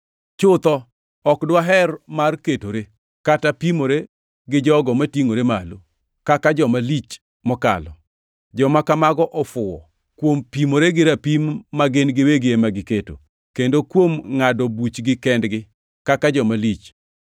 Chutho, ok dwaher mar ketore, kata pimore gi jogo matingʼore malo, kaka joma lich mokalo. Joma kamago ofuwo, kuom pimore gi rapim magin giwegi ema giketo, kendo kuom ngʼado buchgi kendgi, kaka joma lich.